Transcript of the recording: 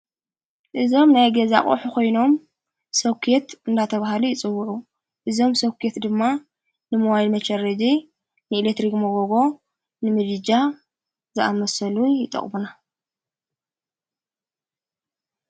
እዞም ናይ ገዛ አቕሑ ኾይኖም ሶከት እንዳተብሃሉ ይጽውዑ እዞም ሶከት ድማ ንመዋይል መጨረድ ንኤሌትሪክ መጐጎ ንምድጃ ዝኣመሰሉ ይጠቕሙና፡፡